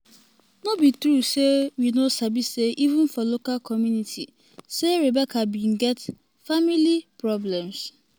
no be true say we no sabi say even for local community say rebecca bin get family get family problems."